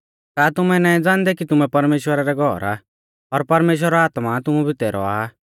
का तुमैं नाईं ज़ाणदै कि तुमैं परमेश्‍वरा रै घौर आ और परमेश्‍वरा रौ आत्मा तुमु बितै रौआ